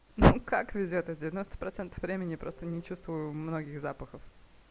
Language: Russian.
ну как везёт девяносто процентов времени я просто не чувствую многих запахов